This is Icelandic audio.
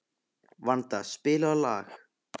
Vanda, spilaðu lag.